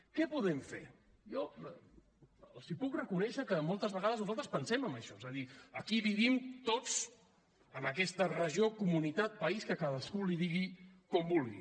què podem fer jo els puc reconèixer que moltes vegades nosaltres pensem en això és a dir aquí hi vivim tots en aquesta regió comunitat país que cadascú li digui com vulgui